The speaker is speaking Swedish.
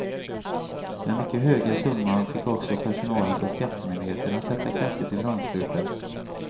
Den mycket höga summan fick också personalen på skattemyndigheten att sätta kaffet i vrångstrupen.